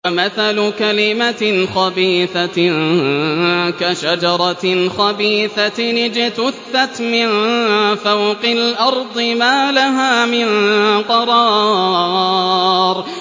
وَمَثَلُ كَلِمَةٍ خَبِيثَةٍ كَشَجَرَةٍ خَبِيثَةٍ اجْتُثَّتْ مِن فَوْقِ الْأَرْضِ مَا لَهَا مِن قَرَارٍ